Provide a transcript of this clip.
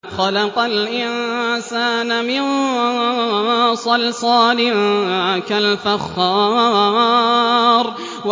خَلَقَ الْإِنسَانَ مِن صَلْصَالٍ كَالْفَخَّارِ